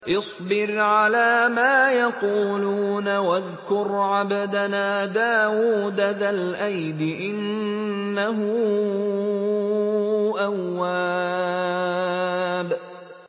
اصْبِرْ عَلَىٰ مَا يَقُولُونَ وَاذْكُرْ عَبْدَنَا دَاوُودَ ذَا الْأَيْدِ ۖ إِنَّهُ أَوَّابٌ